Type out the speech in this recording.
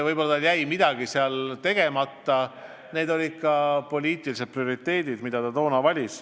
Võib-olla jäi midagi tegemata, aga toona valiti just need poliitilised prioriteedid.